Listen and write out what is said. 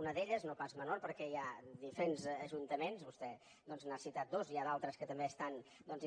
una d’elles no pas menor perquè hi ha diferents ajuntaments vostè doncs n’ha citat dos n’hi ha d’altres que també estan